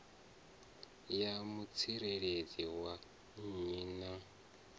ya mutsireledzi wa nnyi na